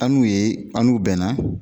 An n'u ye an n'u bɛnna